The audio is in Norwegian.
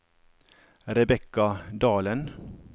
Rebekka Dalen